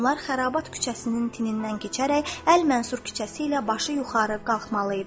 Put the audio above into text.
Onlar Xərabat küçəsinin tinindən keçərək Əl-Mənsur küçəsi ilə başı yuxarı qalxmalı idi.